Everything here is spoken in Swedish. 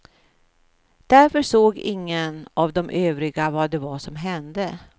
Därför såg ingen av de övriga vad det var som hände.